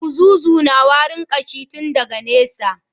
Buzuzu na warin kashi tun daga nesa.